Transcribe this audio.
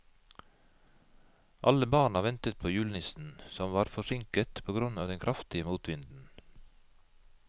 Alle barna ventet på julenissen, som var forsinket på grunn av den kraftige motvinden.